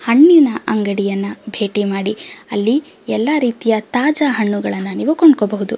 ಹಣ್ಣಿನ ಅಂಗಡಿಯನ್ನು ಭೇಟಿ ಮಾಡಿ ಅಲ್ಲಿ ಎಲ್ಲ ರೀತಿಯ ತಾಜಾ ಹಣ್ಣುಗಳನ್ನು ನೀವು ಕೊಂಡ್ಕೊಬಹುದು .